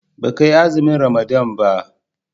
baka yi azumin ramadana ba?